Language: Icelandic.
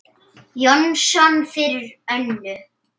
Jónsson fyrir Önnu.